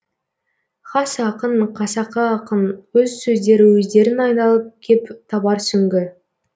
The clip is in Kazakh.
хас ақын қасақы ақын өз сөздері өздерін айналып кеп табар сүңгі